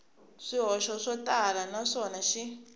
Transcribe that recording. swihoxo swo tala naswona xi